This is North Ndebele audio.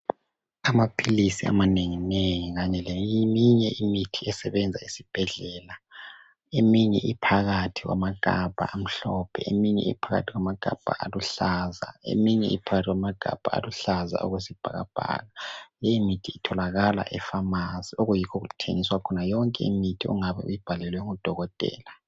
Amaphilisi amanenginengi kanye leminye imithi esebenza esibhedlela eminye iphakathi kwamagabha amhlophe, eminye iphakathi kwamagabha aluhlaza, eminye iphakathi kwamagabha aluhlaza okwesibhakabhaka le mithi itholakala efamasi okuyikho okuthengiswa khona yonke imithi ongabe uyibhalelwe nguDokotela.